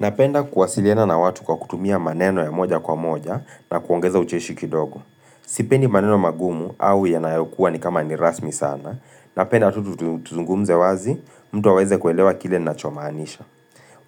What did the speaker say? Napenda kuwasiliana na watu kwa kutumia maneno ya moja kwa moja, na kuongeza ucheshi kidogo. Sipendi maneno magumu au yanayokuwa ni kama ni rasmi sana. Napenda tu tuzungumze wazi, mtu aweze kuelewa kile ninachomaanisha.